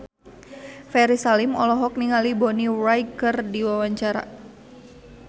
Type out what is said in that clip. Ferry Salim olohok ningali Bonnie Wright keur diwawancara